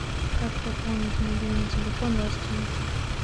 как пополнить мобильный телефон родственнику